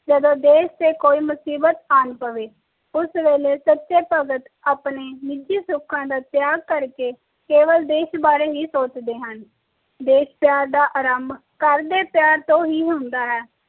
ਜਦੋ ਦੇਸ਼ ਤੇ ਕੋਈ ਮੁਸਬੀਤ ਆਂ ਪਵੇ ਉਸ ਵੇਲੇ ਸਚੇ ਭਗਤ ਆਪਣੇ ਨਿਜੀ ਸੁਖਾਂ ਦਾ ਤਯਾਗ ਕਰਕੇ ਕੇਵਲ ਦੇਸ਼ ਬਾਰੇ ਹੀ ਸੋਚਦੇ ਹਨ ਦੇਸ਼ ਪਿਆਰ ਦਾ ਆਰੰਭ ਘਰ ਦੇ ਪਿਆਰ ਤੋਂ ਹੀ ਹੁੰਦਾ ਹੈ